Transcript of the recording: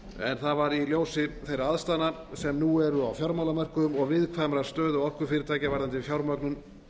en talið var rétt í ljósi þeirra aðstæðna sem nú eru á fjármálamörkuðum og viðkvæmrar stöðu orkufyrirtækja varðandi fjármögnun